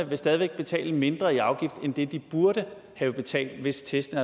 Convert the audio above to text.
vil stadig væk betale mindre i afgift end det de burde have betalt hvis testen